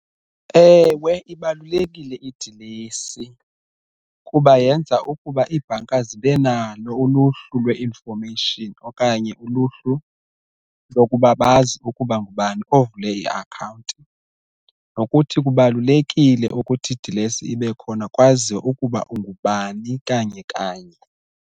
Ewe, ibalulekile idilesi kuba yenza ukuba iibhanka zibe nalo uluhlu lwe-information okanye uluhlu lokuba bazi ukuba ngubani ovule i-akhawunti, nokuthi kubalulekile ukuthi idilesi ibe khona kwaziwe ukuba ungubani kanye kanye.